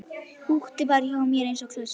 Húkti bara hjá mér eins og klessa.